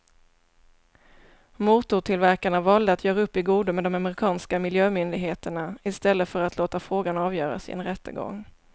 Motortillverkarna valde att göra upp i godo med de amerikanska miljömyndigheterna i stället för att låta frågan avgöras i en rättegång.